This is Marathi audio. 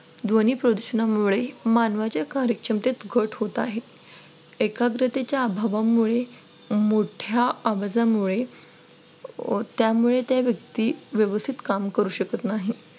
ध्वनी प्रदूषणामुळे मानवाच्या कार्यक्षमतेत घट होत होत आहे. एकाग्रतेच्या अभावामुळे मोठ्या आवाजामुळे व त्यामुळे त्या व्यक्ती व्यवस्थित काम करू शकत नाही.